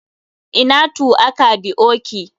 Ina tuaka dioki.